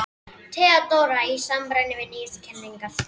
THEODÓRA: Í samræmi við nýjustu kenningar